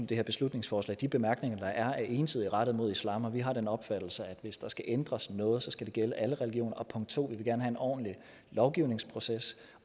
det her beslutningsforslag de bemærkninger der er er ensidigt rettet mod islam og vi har den opfattelse at hvis der skal ændres noget skal det gælde alle religioner punkt 2 vi vil gerne have en ordentlig lovgivningsproces